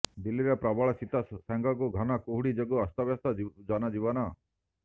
ଦିଲ୍ଲୀରେ ପ୍ରବଳ ଶୀତ ସାଙ୍ଗକୁ ଘନ କୁହୁଡି ଯୋଗୁଁ ଅସ୍ତବ୍ୟସ୍ତ ଜନଜୀବନ